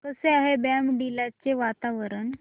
कसे आहे बॉमडिला चे वातावरण